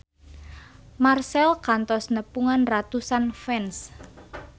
Marchell kantos nepungan ratusan fans